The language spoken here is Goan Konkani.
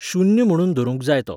शून्य म्हणून धरूंक जाय तो